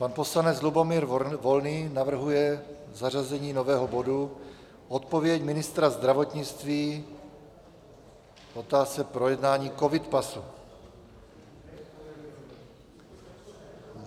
Pan poslanec Lubomír Volný navrhuje zařazení nového bodu Odpověď ministra zdravotnictví k otázce projednání covid pasu.